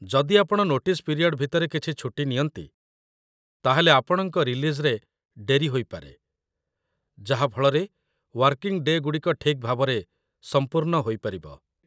ଯଦି ଆପଣ notice period ଭିତରେ କିଛି ଛୁଟି ନିଅନ୍ତି, ତାହେଲେ ଆପଣଙ୍କ ରିଲିଜ୍‌ରେ ଡେରି ହୋଇପାରେ, ଯାହା ଫଳରେ ୱାର୍କିଂ ଡେ'ଗୁଡ଼ିକ ଠିକ୍ ଭାବରେ ସମ୍ପୂର୍ଣ୍ଣ ହୋଇପାରିବ ।